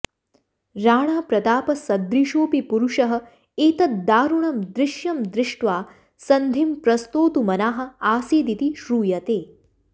राणाप्रतापसदृशोऽपि पुरुषः एतद्दारुणं दृश्यं दृष्ट्वा सन्धिं प्रस्तोतुमनाः आसिदिति श्रूयते